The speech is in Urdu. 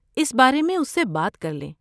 اس بارے میں اس سے بات کر لیں۔